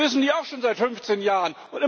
Das wissen die auch schon seit 15 Jahren!